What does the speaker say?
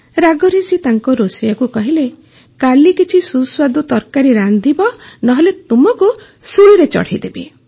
ରାଗରେ ସେ ତାଙ୍କ ରୋଷେଇୟାକୁ କହିଲେ କାଲି କିଛି ସୁସ୍ୱାଦୁ ତରକାରି ରାନ୍ଧିବ ନ ହେଲେ ତୁମକୁ ଶୁଳିରେ ଚଢ଼େଇଦେବି